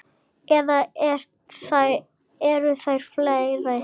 Eða eru þær fleiri?